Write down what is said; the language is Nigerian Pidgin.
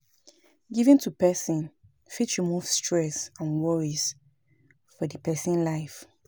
Giving to person fit remove stress and worries for di person life